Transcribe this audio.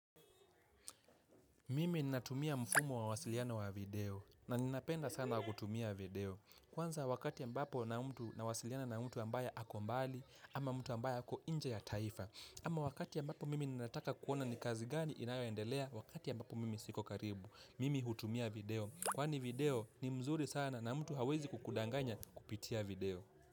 Mimi ninatumia mfumo wa uwasiliano wa video na ninapenda sana kutumia video. Kwanza wakati ambapo na mtu nawasiliana na mtu ambaye ako mbali ama mtu ambaye ako nje ya taifa. Ama wakati ambapo mimi ninataka kuona ni kazi gani inayoendelea wakati ambapo mimi siko karibu. Mimi hutumia video. Kwani video ni mzuri sana na mtu hawezi kukudanganya kupitia video.